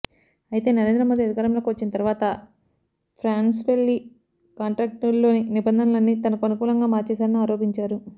అయితే నరేంద్ర మోదీ అధికారంలోకి వచ్చిన తర్వాత ఫ్రాన్స్వెళ్లి కాంట్రాక్టులోని నిబంధనలన్నీ తనకు అనుకూలంగా మార్చివేశారని ఆరోపించారు